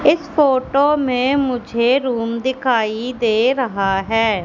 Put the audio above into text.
इस फोटो में मुझे रूम दिखाई दे रहा हैं।